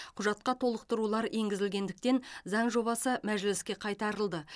құжатқа толықтырулар енгізілгендіктен заң жобасы мәжіліске қайтарылды